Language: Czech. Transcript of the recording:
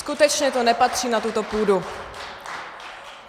Skutečně to nepatří na tuto půdu.